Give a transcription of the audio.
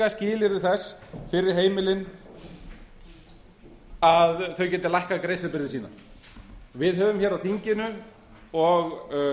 skilyrði þess fyrir heimilin að þau geti lækkað greiðslubyrði sína við höfum hér á þinginu og